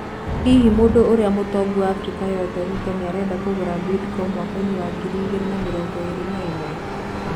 Hihi, Mũndũ ũria Mũtongũ Africa yothe Ruto nĩarenda Kũgũra Bidco mwakaĩnĩ wa ngiri ĩngĩrĩ na mĩrongo ĩrĩ na imwe.